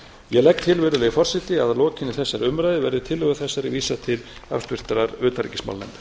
ég legg til virðulegi forseti að lokinni þessari umræðu verði tillögu þessari vísað til háttvirtrar utanríkismálanefndar